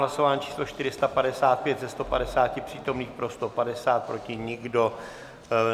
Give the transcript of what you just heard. Hlasování číslo 455, ze 150 přítomných pro 150, proti nikdo.